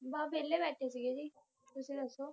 ਬਾਸ ਵੇਲ਼ੇ ਬੈਠੇ ਸੀਗੇ ਜੀ ਤੁੱਸੀ ਦੱਸੋ